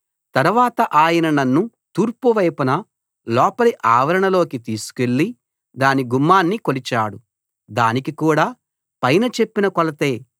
తరవాత ఆయన నన్ను తూర్పు వైపున లోపలి ఆవరణలోకి తీసుకెళ్ళి దాని గుమ్మాన్ని కొలిచాడు దానికి కూడా పైన చెప్పిన కొలతే